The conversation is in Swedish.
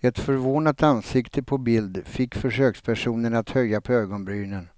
Ett förvånat ansikte på bild fick försökspersonen att höja på ögonbrynen,